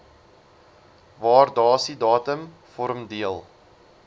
waardasiedatum vorm deel